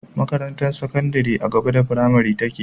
Makarantar sakandari a gaba da fimari take